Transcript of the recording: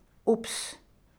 Ups!